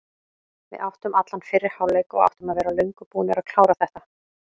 Við áttum allan fyrri hálfleik og áttum að vera löngu búnir að klára þetta.